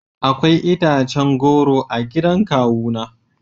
Akwai itacen goro a gidan kawuna